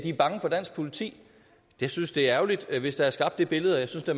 er bange for dansk politi jeg synes det er ærgerligt hvis der er skabt det billede og jeg synes da